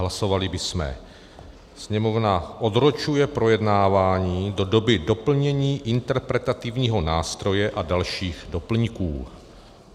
Hlasovali bychom: "Sněmovna odročuje projednávání do doby doplnění interpretativního nástroje a dalších doplňků."